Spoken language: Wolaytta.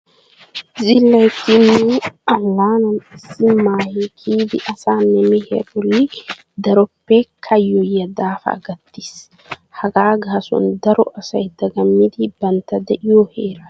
Zilayitti nu allaanan issi maahe kiyidi asaanne mehiya bolli daroppe kayyoyiya daafaa gattiis. Hagaa gaasuwan daro asay dagamidi bantta de'iyo heera yeggidi xayidosona.